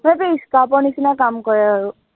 সেইটোৱে scrub ৰ নিচিনা কাম কৰে আৰু